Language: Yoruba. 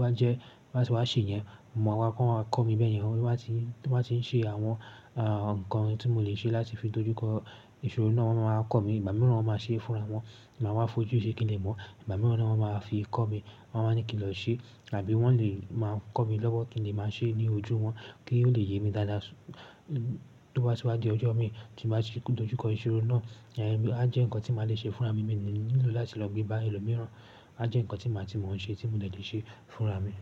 wá jẹ́, bá ti wá ṣe yẹn, mo máa wá kọ́ wọn, wọ́n á kọ́ mi bẹ́ẹ̀ yẹn. Wọn tó bá ti, tó bá ti ń ṣe àwọn, ah, ǹkan tí mo lè ṣe láti fi dojú kọ ìṣòro náà, wọ́n máa ko mi. Ìgbà mìíràn wọ́n máa ṣe é fúnra wọn, màá wá fojú ṣe kí n lè mọ̀. Ìgbà mìíràn wọ́n máa fi kọ́ mi, wọ́n máa ní kí n lọ ṣe àbí wọ́n lè máa kọ́ mi lọ́wọ́ kí n lè máa ṣe ní ojú wọn kí ó lè yé mi dáadáa tó bá ti wá di ọjọ́ mi tí màá ti dojú kọ ìṣòro náà. Eh, a jẹ́ ǹkan tí màá le ṣe fúnra mi, mi ò nílò láti lọ gbé bá ẹlòmíràn. A jẹ́ ǹkan tí màá ti mọ̀ ọ́n ṣe tí mo lè ṣe fúnra mi.